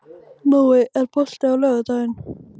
Nói, er bolti á laugardaginn?